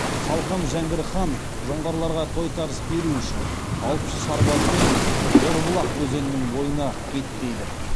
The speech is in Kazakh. салқам жәңгір хан жоңғарларға тойтарыс беру үшін алты жүз сарбазымен орбұлақ өзенінің бойына беттейді